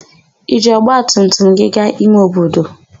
I jiri ọgbatumtum gị gaa ime obodo?